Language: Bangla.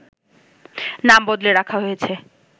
নাম বদলে রাখা হয়েছে